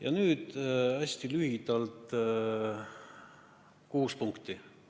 Ja nüüd hästi lühidalt kuus punkti.